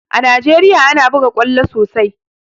A Najeriya ana buga ƙwallo sosai